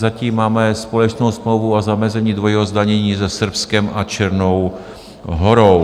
Zatím máme společnou smlouvu o zamezení dvojímu zdanění se Srbskem a Černou Horou.